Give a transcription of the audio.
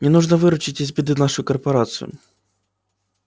мне нужно выручить из беды нашу корпорацию